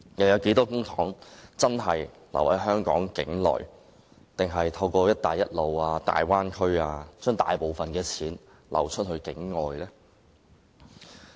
有多少公帑真的在香港境內運用，還是大部分公帑其實透過"一帶一路"和大灣區流往境外呢？